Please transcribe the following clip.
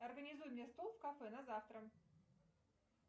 организуй мне стол в кафе на завтра